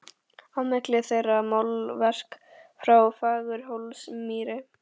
Á milli þeirra málverk frá Fagurhólsmýri.